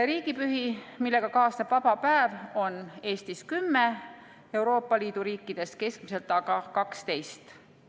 Riigipühi, millega kaasneb vaba päev, on Eestis kümme, Euroopa Liidu riikides keskmiselt aga 12.